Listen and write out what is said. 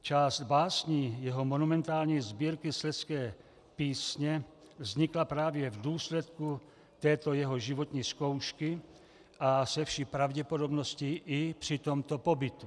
Část básní jeho monumentální sbírky Slezské písně vznikla právě v důsledku této jeho životní zkoušky a se vší pravděpodobností i při tomto pobytu.